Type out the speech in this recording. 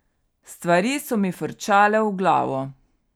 Stvari so mi frčale v glavo.